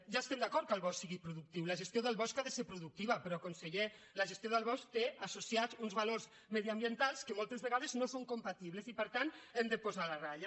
ja hi estem d’acord que el bosc sigui productiu la gestió del bosc ha de ser producti·va però conseller la gestió del bosc té associats uns valors mediambientals que moltes vegades no hi són compatibles i per tant hi hem de posar la ratlla